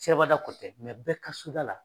Sirabada kɔ tɛ bɛɛ ka soda la.